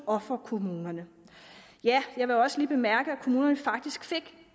og for kommunen ja jeg vil også lige bemærke at kommunerne faktisk fik